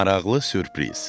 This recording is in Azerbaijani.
Maraqlı sürpriz.